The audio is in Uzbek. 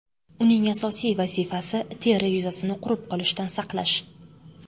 Uning asosiy vazifasi – teri yuzasini qurib qolishdan saqlash.